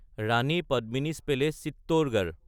ৰাণী পদ্মিনী'চ পেলেচ (চিত্তৰগড়)